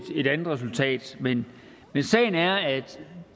andet resultat men sagen er at